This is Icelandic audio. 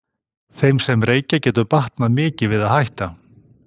þeim sem reykja getur batnað mikið við að hætta